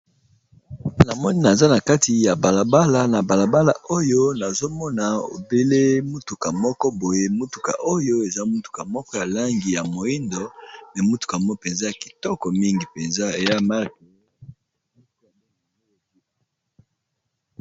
Na moni naza na kati ya balabala na balabala oyo nazomona ebele motuka moko boye motuka oyo eza motuka moko ya langi ya moindo ne motuka mo mpenza y kitoko mingi mpenza eya marche.